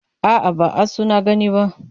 A'a, ba asu na gani ba.